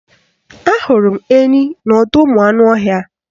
Ahụrụ m enyi n'ọdọụmụanụọhịa